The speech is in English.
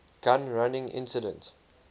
gun running incident